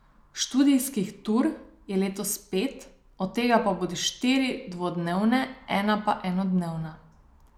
Študijskih tur je letos pet, od tega bodo štiri dvodnevne, ena pa enodnevna.